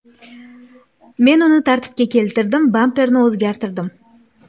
Men uni tartibga keltirdim, bamperni o‘zgartirdim.